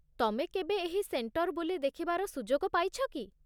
ତମେ କେବେ ଏହି ସେଣ୍ଟର ବୁଲି ଦେଖିବାର ସୁଯୋଗ ପାଇଛ କି?